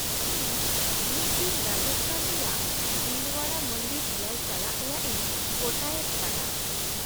-ᱤᱧ ᱢᱤᱫ ᱫᱤᱱ ᱨᱟᱡᱚᱥᱛᱷᱟᱱ ᱨᱮᱭᱟᱜ ᱫᱤᱞ ᱳᱣᱟᱲᱟ ᱢᱚᱱᱫᱤᱨ ᱧᱮᱞ ᱪᱟᱞᱟᱜ ᱨᱮᱭᱟᱜ ᱤᱧ ᱜᱚᱴᱟᱭᱮᱫ ᱠᱟᱱᱟ ᱾